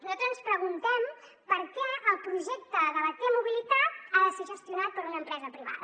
nosaltres ens preguntem per què el projecte de la t mobilitat ha de ser gestionat per una empresa privada